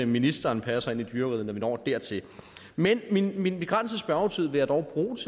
ministeren passer ind i dyreriget når vi når dertil men min min begrænsede spørgetid vil jeg dog bruge